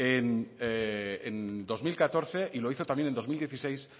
en dos mil catorce y lo hizo también en el dos mil dieciséis